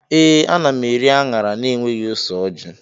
Ee, ana m eri anyara na-enweghị ose orji.